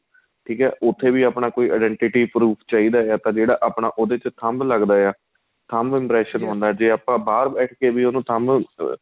ਠੀਕ ਏ ਉਥੇ ਵੀ ਆਪਣਾਂ ਕੋਈ identity professor ਚਾਹੀਦਾ ਜਾਂ ਜਿਹੜਾ ਆਪਣਾ ਉਹਦੇ ਤੇ ਥੱਭ ਲੱਗਦਾ ਆਂ ਥੱਭ impression ਜ਼ੇ ਆਪਾਂ ਬਹਾਰ ਬੈਠ ਕੇ ਵੀ ਉਹਨੂੰ ਥੱਬ ਅਹ